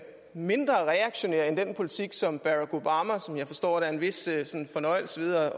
mindre reaktionær end den politik som barack obama som jeg forstår er en vis fornøjelse ved at